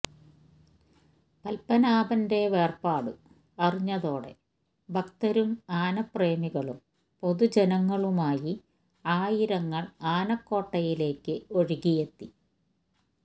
പത്മനാഭന്റെ വേർപാട് അറിഞ്ഞതോടെ ഭക്തരും ആനപ്രേമികളും പൊതുജനങ്ങളുമായി ആയിരങ്ങൾ ആനക്കോട്ടയിലേക്ക് ഒഴുകിയെത്തി